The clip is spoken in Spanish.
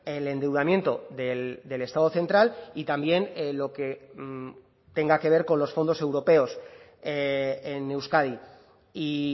el endeudamiento del estado central y también lo que tenga que ver con los fondos europeos en euskadi y